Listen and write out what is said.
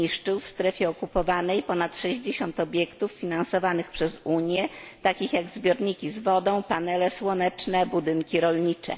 zniszczył w strefie okupowanej ponad 60 obiektów finansowanych przez Unię, takich jak zbiorniki z wodą, panele słoneczne, budynki rolnicze.